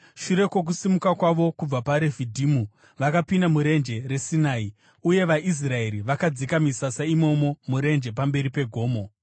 Shure kwokusimuka kwavo kubva paRefidhimu, vakapinda muRenje reSinai, uye vaIsraeri vakadzika misasa imomo murenje pamberi pegomo.